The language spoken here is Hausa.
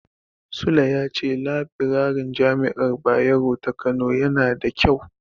Sule ya ce labirarin Jami'ar Bayero ta Kano yana da ƙyau.